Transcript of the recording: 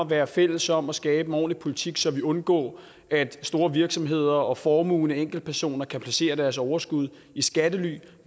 være fælles om at skabe en ordentlig politik så vi undgår at store virksomheder og formuende enkeltpersoner kan placere deres overskud i skattely